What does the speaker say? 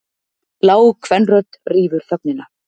Lág kvenrödd rýfur þögnina.